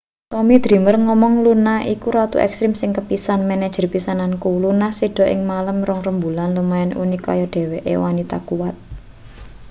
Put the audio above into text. tommy dreamer ngomong luna iku ratu ekstrim sing kepisan manajer pisananku luna seda ing malem rong rembulan lumayan unik kaya dheweke wanita kuwat